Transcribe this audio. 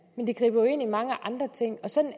men det griber jo ind i mange andre ting sådan